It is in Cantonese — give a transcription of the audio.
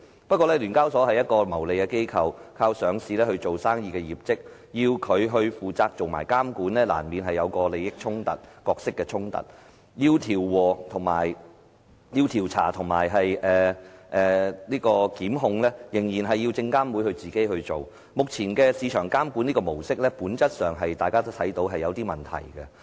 不過，聯交所是一個牟利機構，靠上市做生意業績，要它負責監管，難免有利益、角色的衝突，調查和檢控仍然需要證監會親自處理，大家都看到目前市場監管模式在本質上是有些問題的。